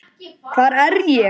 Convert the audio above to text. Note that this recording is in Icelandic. HVAR ER ÉG?